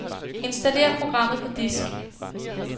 Installer programmet på disk.